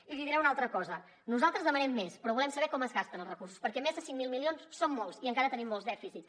i li diré una altra cosa nosaltres demanem més però volem saber com es gasten els recursos perquè més de cinc mil milions són molts i encara tenim molts dèficits